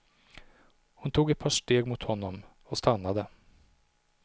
Hon tog ett par steg mot honom och stannade.